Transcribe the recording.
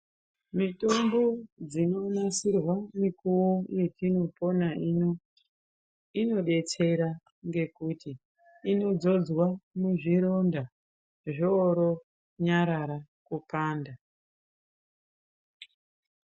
Mitombo dzinonasirwa mikuvo yetinopona ino, inobetsera ngekuti inodzodzwa muzvironda zvooro nyarara kukanda.